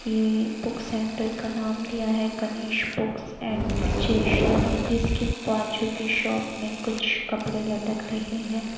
ये book centre का नाम दिया है गणेश बुक्स अँड स्टेशनअरी जिसके बाजू की शॉप मे कुछ कपड़े लटक रहे ह।